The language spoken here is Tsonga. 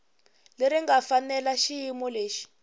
leri nga fanela xiyimo xexo